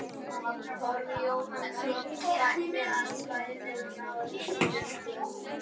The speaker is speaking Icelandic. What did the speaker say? Torfi Jóhannsson mætti á svæðið og náði þessum myndum.